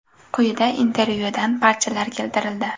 Quyida intervyudan parchalar keltirildi.